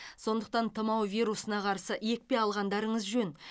сондықтан тұмау вирусына қарсы екпе алғандарыңыз жөн